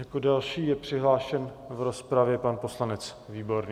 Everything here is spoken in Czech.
Jako další je přihlášen v rozpravě pan poslanec Výborný.